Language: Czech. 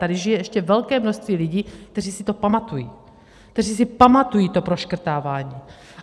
Tady žije ještě velké množství lidí, kteří si to pamatují, kteří si pamatují to proškrtávání.